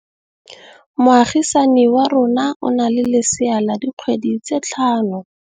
Moagisane wa rona o na le lesea la dikgwedi tse tlhano.